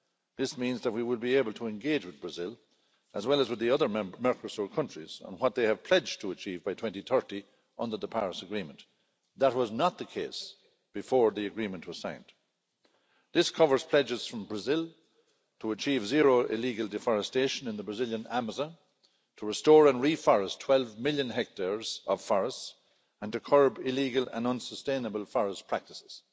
This means that we will be able to engage with Brazil, as well as with the other Mercosur countries, on what they have pledged to achieve by 2030 under the Paris Agreement. That was not the case before the agreement was signed. This covers pledges from Brazil to achieve zero illegal deforestation in the Brazilian Amazon, to restore and reforest 12 million hectares of forests, and to curb illegal and unsustainable forest practices.